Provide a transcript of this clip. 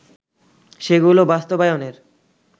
সেগুলো বাস্তবায়নের